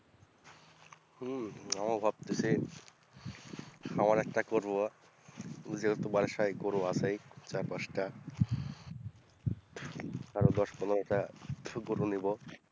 হম আমিও ভাবতেছি খামার এক করবো যেহেতু বাড়ির সঙ্গে গরু আছেই চার পাঁচটা, আরও দশ পনেরোটা শুকরও নেবো।